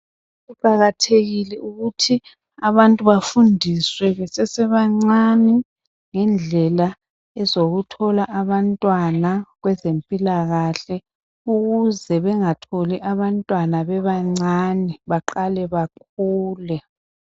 Kuqakathekile ukuthi abantu bafundiswe besesebancane ngendlela ezokuthola abantwana kwezempilakahle ukuze bengatholi abantwana bebancane baqale bakhule.